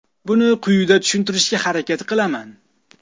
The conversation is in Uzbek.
Buni quyida tushuntirishga harakat qilaman.